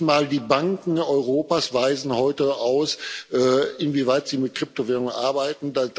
Nicht mal die Banken Europas weisen heute aus, inwieweit sie mit Kryptowährungen arbeiten.